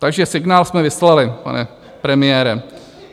Takže signál jsme vyslali, pane premiére.